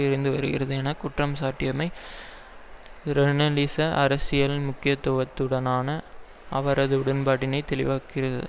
இருந்துவருகிறது என குற்றம் சாட்டியமை ஸ்ராலினிச அரசியல் முக்கியத்துவத்துடனான அவரது உடன்பாட்டினை தெளிவாக்குகிறது